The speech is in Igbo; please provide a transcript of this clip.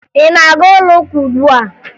Ị na-aga ụlọuka ugbua?